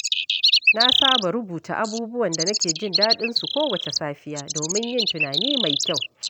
Na saba rubuta abubuwan da nake jin daɗin su kowace safiya domin yin tunani mai kyau.